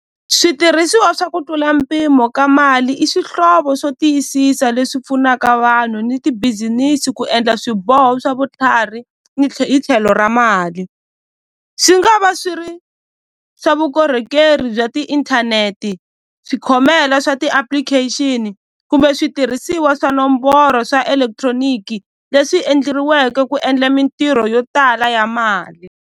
Switirhisiwa swa ku tlula mpimo ka mali i swihlovo swo tiyisisa leswi pfunaka vanhu ni ti-business ku endla swiboho swa vutlhari ni hi tlhelo ra mali swi nga va swi ri swa vukorhokeri bya tiinthaneti swikhongelo swa ti-application kumbe switirhisiwa swa nomboro swa electronic leswi endleriweke ku endla mintirho yo tala ya mali.